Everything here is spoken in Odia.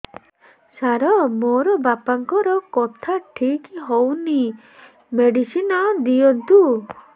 ସାର ମୋର ବାପାଙ୍କର କଥା ଠିକ ହଉନି ମେଡିସିନ ଦିଅନ୍ତୁ